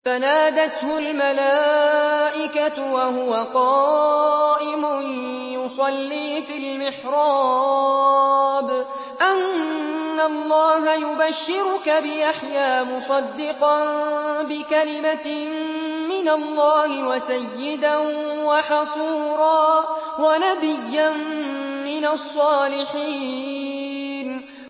فَنَادَتْهُ الْمَلَائِكَةُ وَهُوَ قَائِمٌ يُصَلِّي فِي الْمِحْرَابِ أَنَّ اللَّهَ يُبَشِّرُكَ بِيَحْيَىٰ مُصَدِّقًا بِكَلِمَةٍ مِّنَ اللَّهِ وَسَيِّدًا وَحَصُورًا وَنَبِيًّا مِّنَ الصَّالِحِينَ